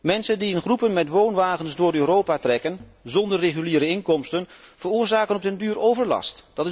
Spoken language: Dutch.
Mensen die in groepen met woonwagens door Europa trekken, zonder reguliere inkomsten, veroorzaken op den duur overlast.